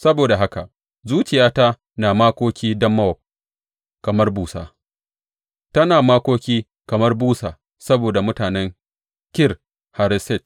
Saboda haka zuciyata na makoki don Mowab kamar busa; tana makoki kamar busa saboda mutanen Kir Hareset.